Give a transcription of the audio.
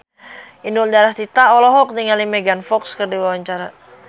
Inul Daratista olohok ningali Megan Fox keur diwawancara